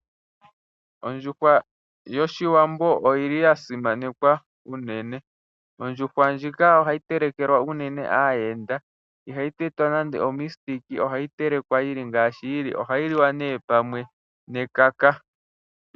Ondjuhwa yoshiwambo oyili ya simanekwa unene. Ondjuhwa ndjika ohayi telekelwa unene aayenda, ihayi tetwa nande miipambu ohayi telekwa yili ngaashi yili. ohayi liwa nee pamwe nekaka.